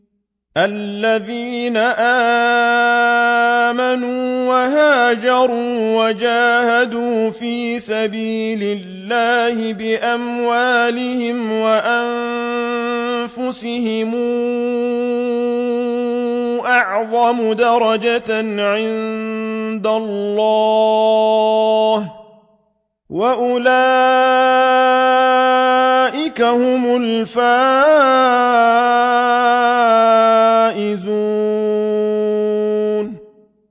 الَّذِينَ آمَنُوا وَهَاجَرُوا وَجَاهَدُوا فِي سَبِيلِ اللَّهِ بِأَمْوَالِهِمْ وَأَنفُسِهِمْ أَعْظَمُ دَرَجَةً عِندَ اللَّهِ ۚ وَأُولَٰئِكَ هُمُ الْفَائِزُونَ